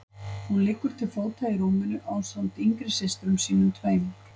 Hún liggur til fóta í rúminu ásamt yngri systrum sínum tveim.